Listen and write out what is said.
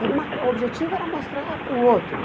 Então, uma o objetivo era mostrar para o outro.